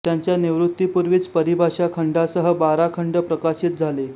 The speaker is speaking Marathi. त्यांच्या निवृत्तीपूर्वीच परिभाषा खंडासह बारा खंड प्रकाशित झाले